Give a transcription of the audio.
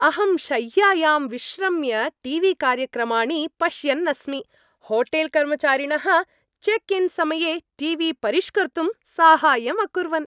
अहं शय्यायां विश्रम्य टी वी कार्यक्रमाणि पश्यन्नस्मि होटेल्कर्मचारिणः चेक् इन् समये टी वी परिष्कर्तुं साहाय्यम् अकुर्वन्।